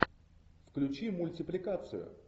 включи мультипликацию